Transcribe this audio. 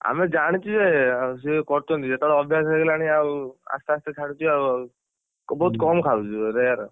ଆମେ ଜାଣିଛୁ ଜେ ସେ କରୁଛନ୍ତି ଯେତେବେଳେ ଅଭ୍ୟାସ ହେଇଗଲାଣି ଆଉ ଆସ୍ତେଆସ୍ତେ ଛାଡ଼ୁଛି ଆଉ ଆଉ ବହୁତ କମ ହୁଁ ଖାଉଛି rare ।